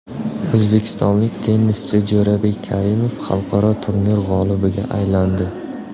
O‘zbekistonlik tennischi Jo‘rabek Karimov xalqaro turnir g‘olibiga aylandi.